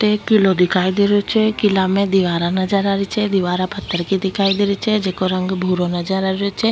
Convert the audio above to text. एक किलो दिखाई दे रहियो छे किला में दिवारा नजर आ रही छे दिवारा पत्थर की दिखाई दे रही छे जेको रंग भूरो नजर आ रहियो छे।